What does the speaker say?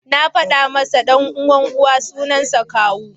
Na faɗa masa ce, ɗan uwan Uwa suansa Kawu da Hausa.